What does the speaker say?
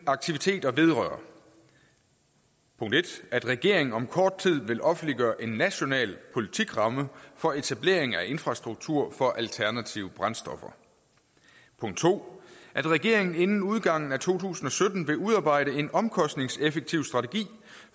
aktiviteter vedrører punkt en at regeringen om kort tid vil offentliggøre en national politikramme for etablering af infrastruktur for alternative brændstoffer punkt to at regeringen inden udgangen af to tusind og sytten vil udarbejde en omkostningseffektiv strategi